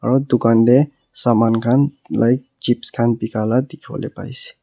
aru dukan teh saman khan light chips khan bika lah dikhibo le paise.